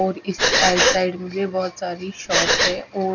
और इसके आइए साइड में भी बहुत सारी शॉप हैं और--